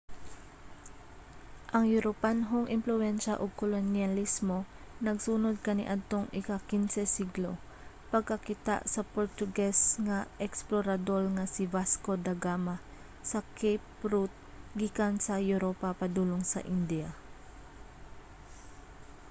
ang europanhong impluwensya ug kolonyalismo nagsunod kaniadtong ika-15 siglo pagkakita sa portuges nga eksplorador nga si vasco da gama sa cape route gikan sa europa padulong sa india